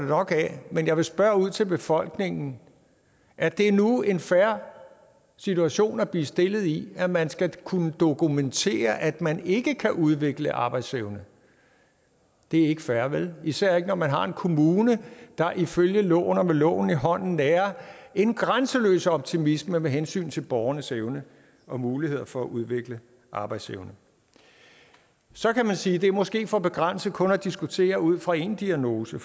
nok af og jeg vil spørge ud til befolkningen er det nu en fair situation at blive stillet i at man skal kunne dokumentere at man ikke kan udvikle arbejdsevne det er ikke fair vel især ikke når man har en kommune der ifølge loven og med loven i hånden nærer en grænseløs optimisme med hensyn til borgernes evne og muligheder for at udvikle arbejdsevne så kan man sige at det måske er for begrænset kun at diskutere ud fra én diagnose